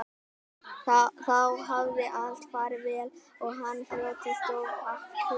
Þá hafði allt farið vel og hann hlotið stórþakkir